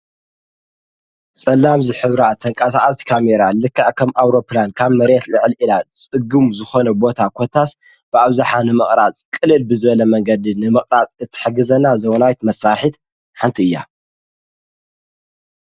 ጸላም ዝኅብራ ተንቃሣኣስ ካሜይራ ልክዕ ከም ኣውሮፕላን ካብ መሬት ልዕሊዒላ ጽጉሙ ዝኾነ ቦታ ዀታስ ብዕውዙኃ ንመቕራጽ ቕልል ብዝበለ መንገድን ንመቕራጽ እትሕግዘና ዘውናይት መሳርሒት ሓንቲያ።